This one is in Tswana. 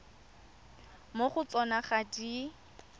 mo go tsona ga di